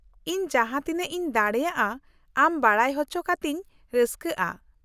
ᱤᱧ ᱡᱟᱦᱟᱸ ᱛᱤᱱᱟᱹᱜ ᱤᱧ ᱫᱟᱲᱮᱭᱟᱜᱼᱟ ᱟᱢ ᱵᱟᱰᱟᱭ ᱦᱚᱪᱚ ᱠᱟᱛᱤᱧ ᱨᱟᱹᱥᱠᱟᱹᱜᱼᱟ ᱾